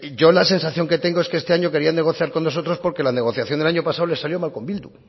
yo la sensación que tengo es que este año querían negociar con nosotros porque la negociación del año pasado les salió mal con bildu